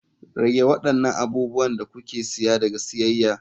Rage waɗannan abubuwan da kuke siya daga siyayya.